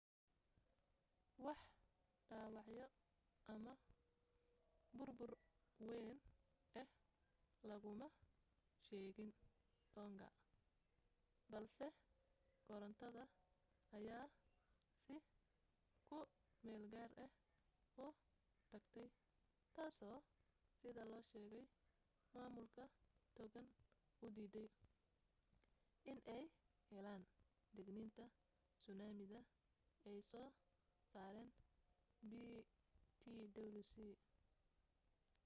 wax dhaawacyo ama burbur wayn ah laguma sheegayn tonga balse korontada ayaa si ku meel gaar ah u tagtay taasoo sida la sheegay maamulka tongan u diiday inay helaan digniinta suunaamida ay soo saareen ptwc